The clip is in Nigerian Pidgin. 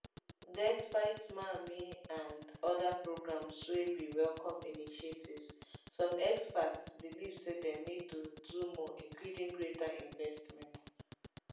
despite mamii and oda programmes wey be welcome initiatives some experts believe say dem need to do more including greater investment